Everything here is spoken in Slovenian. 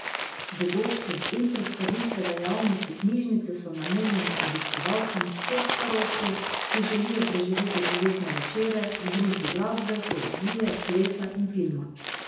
Dogodki in predstavitve dejavnosti knjižnice so namenjeni obiskovalcem vseh starosti, ki želijo preživeti poletne večere v družbi glasbe, poezije, plesa in filma.